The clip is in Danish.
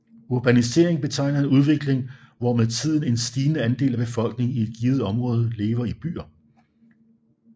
Urbanisering betegner en udvikling hvor med tiden en stigende andel af befolkningen i et givet område lever i byer